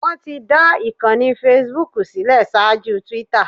Wọ́n ti dá ìkànnì facebook sílẹ̀ ṣaájú Twitter